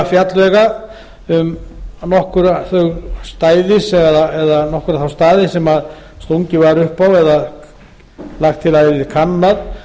hefur verið unnið að gerð nýrra góðra fjallvega um nokkra þá staði sem stungið var upp á eða lagt til að